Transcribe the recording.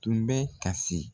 Tun bɛ kasi.